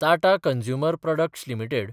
Tata consumer products limited